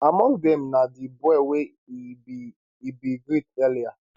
among dem na di boy wey e bin e bin greet earlier